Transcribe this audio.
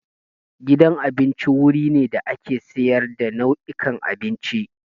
Gidan abinci wuri ne da ake sayar da nau'ikan abinci.